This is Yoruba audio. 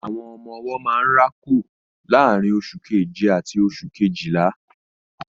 Àwọn ọmọ-ọwọ́ máa ń rákò láàrín oṣù keje àti oṣù Kejìlá